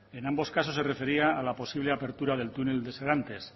en ambos casos se refería a la posible apertura del túnel de serantes